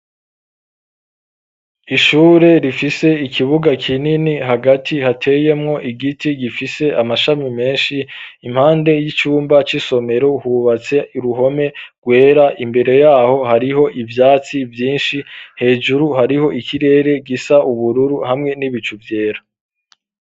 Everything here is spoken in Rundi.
Ishure rifise ikibuga kinini, hagati hateyemwo igiti gifise amashami menshi, impande y'icumba c'isomero hubatse uruhome rwera, imbere y'aho hariho ivyatsi vyinshi, hejuru hariho ikirere gisa ubururu hamwe n'ibicu vyera.